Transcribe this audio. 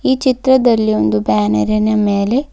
ಈ ಚಿತ್ರದಲ್ಲಿ ಒಂದು ಬ್ಯಾನರಿನ ಮೇಲೆ--